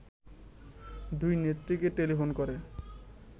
দুই নেত্রীকে টেলিফোন করে